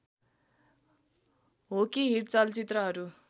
हो कि हिट चलचित्रहरू